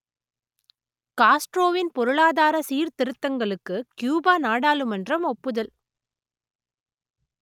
காஸ்ட்ரோவின் பொருளாதார சீர்திருத்தங்களுக்கு கியூபா நாடாளுமன்றம் ஒப்புதல்